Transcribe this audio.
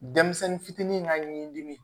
Denmisɛnnin fitinin ka ɲi dimi